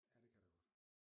Ja det kan der godt